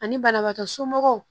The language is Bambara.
Ani banabagatɔ somɔgɔw